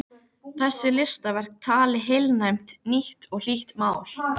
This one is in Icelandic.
Þessi listaverk tali heilnæmt, nýtt og hlýtt mál.